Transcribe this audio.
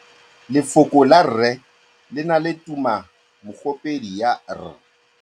Lefoko la rre le na le tumammogôpedi ya, r.